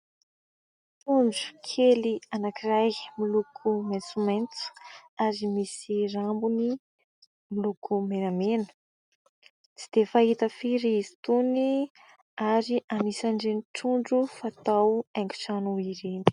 Trondro kely anankiray miloko maitsomaitso ary misy rambony miloko menamena, tsy dia fahita firy izy itony ary anisan'ireny trondro fatao haingo trano ireny.